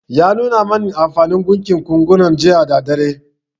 Ya nuna min anfanin gunkin gunkunan jiya da daddare